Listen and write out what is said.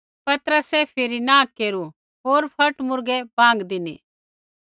पतरसै फिरी नाँ केरू होर फट मुर्गै बाँग धिनी